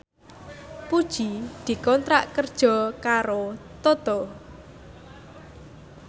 Puji dikontrak kerja karo Toto